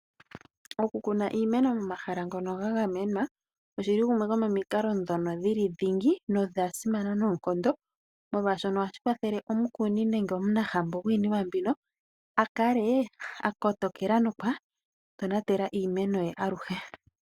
Oku kuna iimeno momahala ngono ga gamenwa ogo omukalo ngono guli dhingi na ogwa simana noonkondo molwaashoka ohashi kwathele omukuni a kale akotokela na okwa tonatela iimeno ye aluhe.